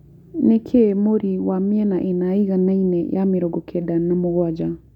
nĩ kĩĩ mũri wa mĩena ĩna ĩiganaine ya mĩrongo Kenda na mũgwaja